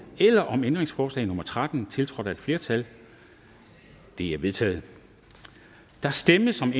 eller om ændringsforslag nummer tretten tiltrådt af et flertal de er vedtaget der stemmes om